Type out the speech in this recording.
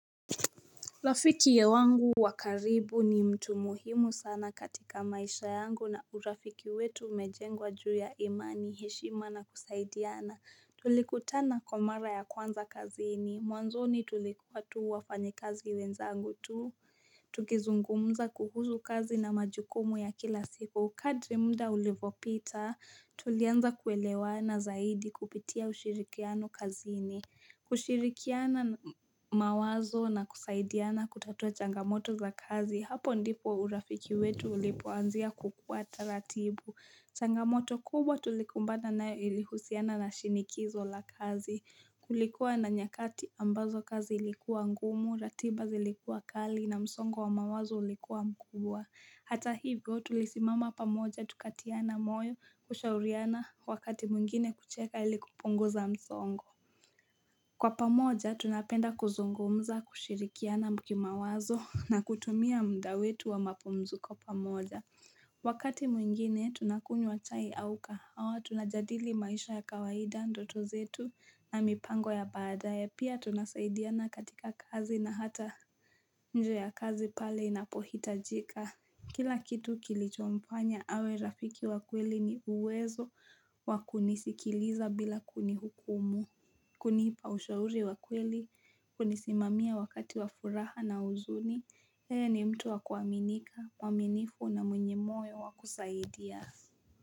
Rafiki wangu wa karibu ni mtu muhimu sana katika maisha yangu na urafiki wetu umejengwa juu ya imani heshima na kusaidiana tulikutana kwa mara ya kwanza kazini mwanzoni tulikuwa tu wafanyikazi wenzangu tu tukizungumza kuhusu kazi na majukumu ya kila siku. Kadri muda ulivopita tulianza kuelewana zaidi kupitia ushirikiano kazini. Kushirikiana mawazo na kusaidiana kutatua changamoto za kazi. Hapo ndipo urafiki wetu ulipoanzia kukua taratibu. Changamoto kubwa tulikumbana nayo ilihusiana na shinikizo la kazi Kulikuwa na nyakati ambazo kazi ilikuwa ngumu, ratiba zilikuwa kali na msongo wa mawazo ulikuwa mkubwa Hata hivyo tulisimama pamoja tukatiana moyo kushauriana wakati mwingine kucheka ili kupunguza msongo Kwa pamoja tunapenda kuzungumza kushirikiana ki mawazo na kutumia muda wetu wa mapumziko pamoja Wakati mwingine tunakunywa chai au kahawa tunajadili maisha ya kawaida, ndoto zetu na mipango ya baadaye Pia tunasaidiana katika kazi na hata nje ya kazi pale inapohitajika Kila kitu kilichomfanya awe rafiki wa kweli ni uwezo wakunisikiliza bila kunihukumu kunipa ushauri wa kweli, kunisimamia wakati wafuraha na uzuni yeye ni mtu wa kuaminika, mwaminifu na mwenye moyo wa kusaidia.